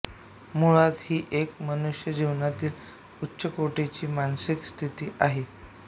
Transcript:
मुळात ही एक मनुष्यजीवनातील उच्चकोटीची मानसिक स्थिती आहे